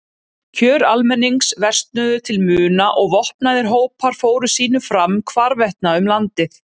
Kjör almennings versnuðu til muna og vopnaðir hópar fóru sínu fram hvarvetna um landið.